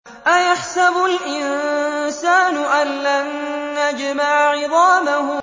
أَيَحْسَبُ الْإِنسَانُ أَلَّن نَّجْمَعَ عِظَامَهُ